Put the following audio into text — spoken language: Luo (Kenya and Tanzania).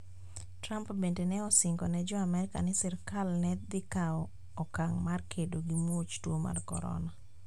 Trump bende ne osingone Jo-Amerka ni sirkal ne dhi kawo okang' mar kedo gi muoch tuo mar Corona.